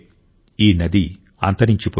ఈ నది అంతరించిపోయింది